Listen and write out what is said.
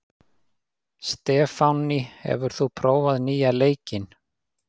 Stefánný, hefur þú prófað nýja leikinn?